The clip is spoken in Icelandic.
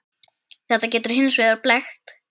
Þetta getur hins vegar blekkt.